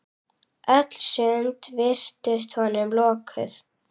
Öll sund virtust honum lokuð.